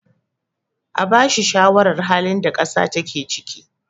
a bashi shawarar halin da kasa take ciki!